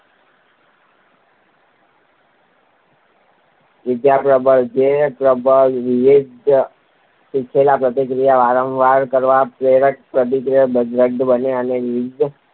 વિધાયક પ્રબલન જે પ્રબલન વિધેયની શીખેલી પ્રતિક્રિયાને વારંવાર કરવા પ્રેરીને પ્રતિક્રિયાને દૃઢ બનાવે તેને વિધાયક